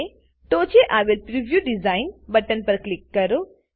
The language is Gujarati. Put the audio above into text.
ટોંચે આવેલ preview design preview design button પર ક્લિક કરો